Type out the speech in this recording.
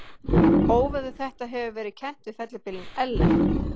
Óveður þetta hefur verið kennt við fellibylinn Ellen.